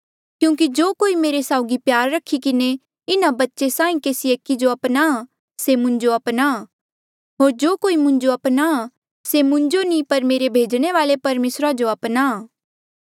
क्यूंकि जो कोई मेरे साउगी प्यार रखी किन्हें इन्हा बच्चे साहीं केसी एकी जो अपनाहां से मुंजो अपनाहां होर जो कोई मुंजो अपनाहां से मुंजो नी पर मेरे भेजणे वाले परमेसरा जो अपनाहां